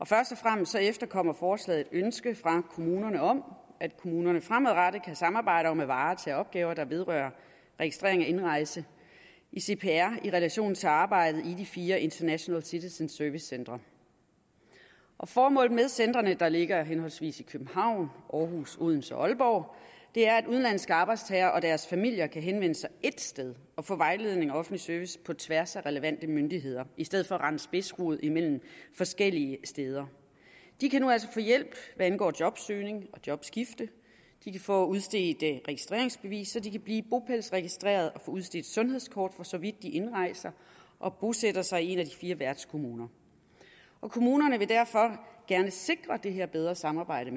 først og fremmest efterkommer forslaget ønske fra kommunerne om at kommunerne fremadrettet kan samarbejde om at varetage opgaver der vedrører registrering af indrejse i cpr i relation til arbejdet i de fire international citizen service centre formålet med centrene der ligger i henholdsvis københavn århus odense og aalborg er at udenlandske arbejdstagere og deres familier kan henvende sig ét sted og få vejledning og offentlig service på tværs af relevante myndigheder i stedet for at skulle rende spidsrod forskellige steder de kan altså nu få hjælp hvad angår jobsøgning og jobskifte de kan få udstedt registreringsbevis så de kan blive bopælsregistreret og udstedt sundhedskort for så vidt de indrejser og bosætter sig i en af de fire værtskommuner kommunerne vil derfor gerne sikre at det her bedre samarbejde